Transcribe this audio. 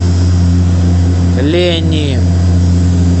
лени